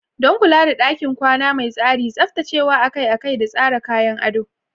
Don kula da ɗakin kwana mai tsari, tsaftacewa akai-akai da tsara kayan ado.